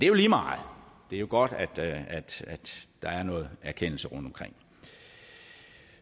jo lige meget det er jo godt at der er noget erkendelse rundtomkring